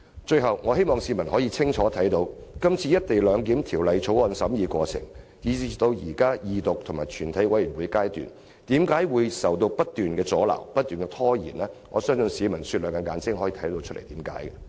最後，我希望市民可以看清楚，這次《條例草案》的審議過程，由二讀至全體委員會審議階段，為何不斷受到阻撓和拖延，我相信市民雪亮的眼睛會看到箇中原因。